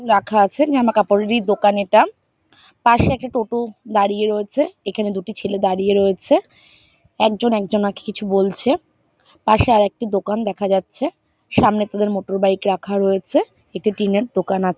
রাখা আছে জামাকাপড় ই দোকান এটা। এখানে একটি দাঁড়িয়ে রয়েছে পাশে একটি ছেলে দাঁড়িয়ে রয়েছে। একজন একজনাকে কিছু বলছে পাশে আরেকটি দোকান দেখা যাচ্ছে সামনে একটি রাখা রয়েছে একটি টিনের দোকান আছে।